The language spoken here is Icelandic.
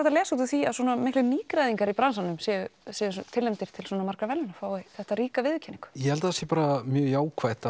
að lesa úr því að svona margir nýgræðingar í bransanum séu tilnefndir til svona margra verðlauna fái þessa ríku viðurkenningu ég held að það sé bara mjög jákvætt